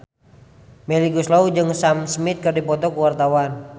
Melly Goeslaw jeung Sam Smith keur dipoto ku wartawan